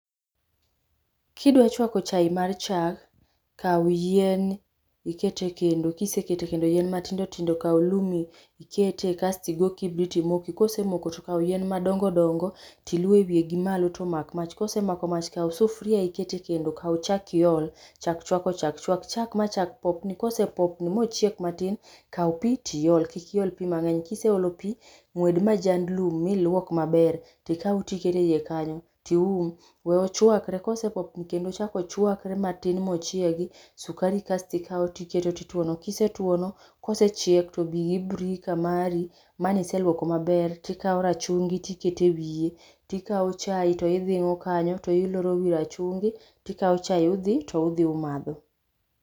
Kidwa chuako chae mar chak, kaw yien iket e kendo kiseketo ekendo yien matindo tindo, kaw lum ikete kas tigo kibrit imoki kosemoko to kaw yien madongo dongo iluo ewiye gimalo to omak mach kosemako mach, kaw sufuria iket e kendo, kaw chak iol. Chak chwako chak, chwak chak ma chak popni, kose popni mochiek matin kaw pi tiol, kik iol pi mang'eny. Kiseolo pi, ng'wed majand lum, miluok maber , ikaw tiketo eiye kanyo tium. We ochuakre, kose popni kendo ochako ochuakre matin mochiegi, sukari bas tikawo tiketo tituono, kisetuono kosechiek to bi gi birika mari maniseluoko maber tikawo rachungi tiketo e wiye, tikawo chae to idhing'o kanyo, to iloro wi rachungi, to ikawo chae to udhi umadho.